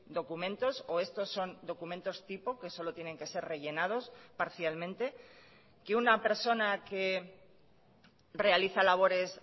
documentos o estos son documentos tipo que solo tienen que ser rellenados parcialmente que una persona que realiza labores